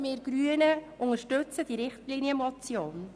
Wir Grünen unterstützen die Richtlinienmotion.